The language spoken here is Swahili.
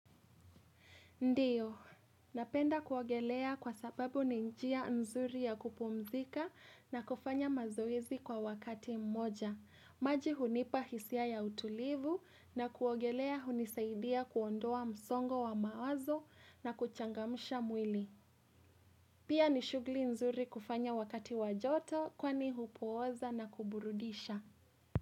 Ndiyo, napenda kuogelea kwa sababu ninjia nzuri ya kupumzika na kufanya mazoezi kwa wakati mmoja. Maji hunipa hisia ya utulivu na kuogelea hunisaidia kuondoa msongo wa mawazo na kuchangamsha mwili. Pia nishughuli nzuri kufanya wakati wa joto kwani hupooza na kuburudisha.